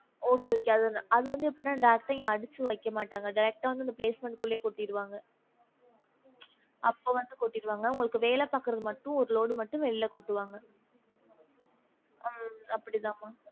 Okay okay அது வந்து அது வந்து எப்டினா direct ஆ அடிச்சு வைக்கமாட்டாங்க direct ஆ உங்க basement குள்ளயே கொட்டிருவாங்க உச் அப்போ வந்து கொட்டிருவாங்க உங்களுக்கு வேல பாக்குறதுக்கு மட்டும் ஒரு load வெளில கொட்டுவாங்க ஹம் அப்படிதான் மா